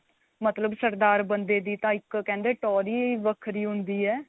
ਮਤਲਬ ਸਰਦਾਰ ਬੰਦੇ ਦੀ ਤਾਂ ਇੱਕ ਕਹਿੰਦੇ ਟੋਹਰ ਹੀ ਵੱਖਰੀ ਹੁੰਦੀ ਏ